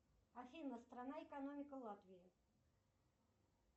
афина страна экономика латвии